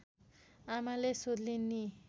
आमाले सोध्लीन् नि